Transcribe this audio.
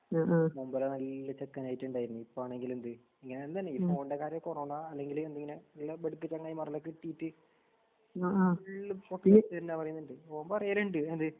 മുമ്പരെനല്ല ചെക്കനായിട്ടുണ്ടായിരുന്നു. ഇപ്പാണെങ്കിലെന്ത് ഇങ്ങനെതന്നാണീ ഈഫോണിന്റെ കാര്യ കൊറോണാ അല്ലെങ്കില് എന്തിങ്ങനെ നല്ലബട്ക്ക്ചെങ്ങായിമാരെല്ലാം കെട്ടീട്ട് ഫുള്ളും പറ്റിയിജ്ജ്തന്നാപറയുന്നുണ്ട്. എന്ത്? ഓൻപറയലുണ്ട്.